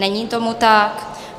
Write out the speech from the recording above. Není tomu tak.